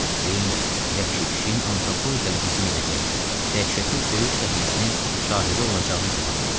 Ceyn vəhşi pişiyin antropoidlərə hücum edəcəyini, dəhşətli döyüş səhnəsinin şahidi olacağını güman eləyirdi.